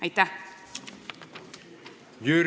Aitäh!